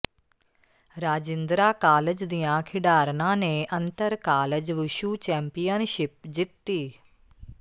Rajindra college ਦੀਆਂ ਖਿਡਾਰਨਾਂ ਨੇ ਅੰਤਰ ਕਾਲਜ ਵੁਸ਼ੁੂ ਚੈਂਪੀਅਨਸ਼ਿਪ ਜਿੱਤੀ